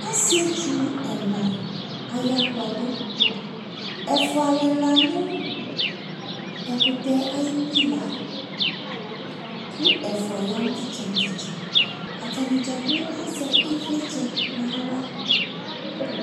Asietu ɛna aya kpɔdu Ɛfua lela nu ekutɛɛ ayi pila ko ɛfua ya no tetsɛ no tetsɛ Atane dzakplo azɛ ivlitsɛ no awra